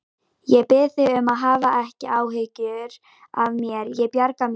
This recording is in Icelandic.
Ég bið þig um að hafa ekki áhyggjur af mér, ég bjarga mér.